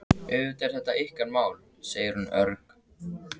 Auðvitað er þetta ykkar mál, segir hún örg.